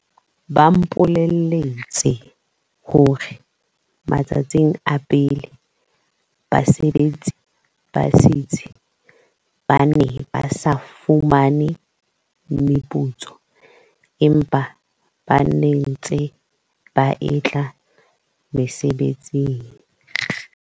Ba mpole lletse hore matsatsing a pele, basebetsi ba setsi ba ne ba sa fumane meputso empa ba ntse ba etla mosebetsing.